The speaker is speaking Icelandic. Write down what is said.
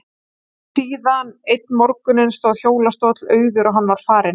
Og síðan, einn morguninn, stóð hjólastóll auður og hann var farinn.